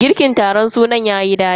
Girkin taron sunan yayi dadi.